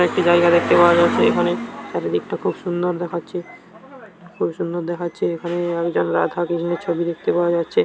এবং একটি জায়গা দেখতে পাওয়া যাচ্ছে। এখানে চারিদিকটা খুব সুন্দর দেখাচ্ছে খুব সুন্দর দেখাচ্ছে । এখানে একজন রাধা কৃষ্ণের ছবি দেখতে পাওয়া যাচ্ছে।